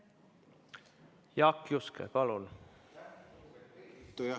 Jaak Juske, palun!